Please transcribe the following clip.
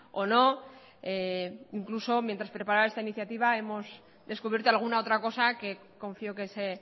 o no e incluso mientras preparaba esta iniciativa hemos descubierto alguna otra cosa que confío que se